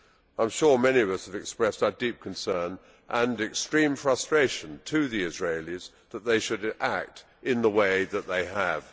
I am sure many of us have expressed our deep concern and extreme frustration to the Israelis that they should act in the way that they have.